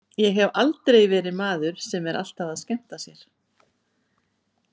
Ég hef aldrei verið maður sem er alltaf að skemmta sér.